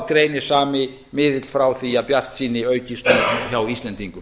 greinir sami miðill frá því að bjartsýni aukist nú hjá íslendingum